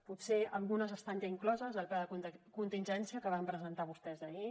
potser algunes estan ja incloses al pla de contingència que van presentar vostès ahir